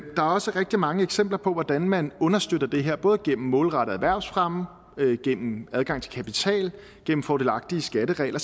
også rigtig mange eksempler på hvordan man understøtter det her både gennem målrettet erhvervsfremme gennem adgang til kapital gennem fordelagtige skatteregler